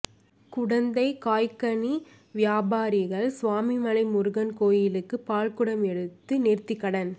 குடந்தை காய்கனி வியாபாரிகள் சுவாமிமலை முருகன் கோயிலுக்கு பால்குடம் எடுத்து நேர்த்திக்கடன்